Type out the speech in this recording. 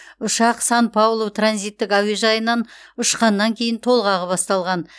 ұшақ сан паулу транзиттік әуежайынан ұшқаннан кейін толғағы басталған